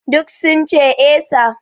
Duk sun ce 'Eh sir'